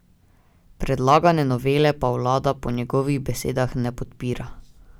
Predlagane novele pa vlada po njegovih besedah ne podpira.